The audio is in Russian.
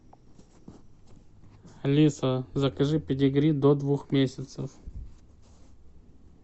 алиса закажи педигри до двух месяцев